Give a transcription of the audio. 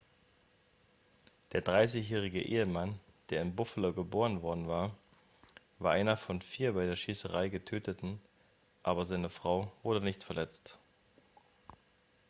der 30-jährige ehemann der in buffalo geboren worden war war einer von vier bei der schießerei getöteten aber seine frau wurde nicht verletzt